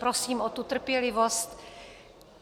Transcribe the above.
Prosím o tu trpělivost.